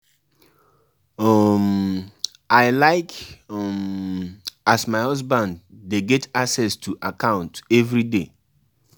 E get plenty traditional practice wey still dey relevant today.